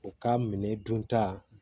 U ka minɛ dunta